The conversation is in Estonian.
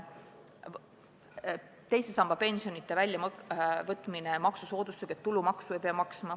Teisest sambast pensioni väljavõtmisele tuleks kehtestada maksusoodustus, et tulumaksu ei peaks maksma.